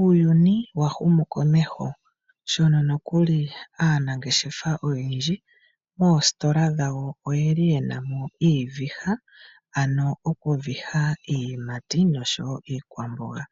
Uuyuni wa humukomeho, mono nokuli aanangeshefa oyendji moositola dhawo oye na mo iiviha yokuviha iiyimati noshowo iikwamboga.